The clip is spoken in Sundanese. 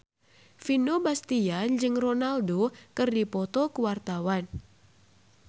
Vino Bastian jeung Ronaldo keur dipoto ku wartawan